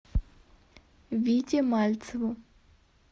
вите мальцеву